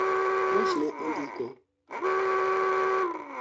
omosh ne ondiko